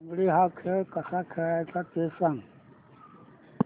लंगडी हा खेळ कसा खेळाचा ते सांग